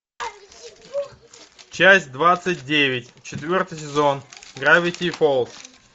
часть двадцать девять четвертый сезон гравити фолз